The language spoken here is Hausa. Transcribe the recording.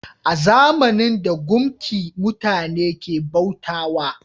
A zamanin da, gumki mutane ke bauta wa